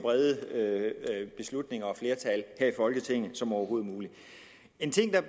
brede beslutninger og flertal her i folketinget som overhovedet muligt en ting der